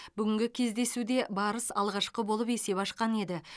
бүгінгі кездесуде барыс алғашқы болып есеп ашқан еді